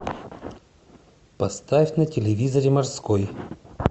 поставь на телевизоре морской